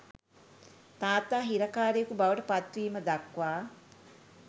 තාත්තා හිරකාරයකු බවට පත්වීම දක්වා